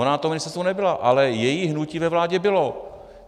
Ona na tom ministerstvu nebyla, ale její hnutí ve vládě bylo.